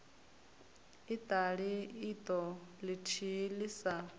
iṱali iṱo ḽithihi ḽi sa